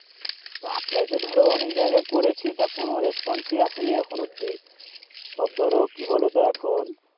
apply তো ধরো অনেক জায়গায় করেছি তা কোনো response ই আসেনি এখনো অব্দি সব ধরো কি বলো তো এখন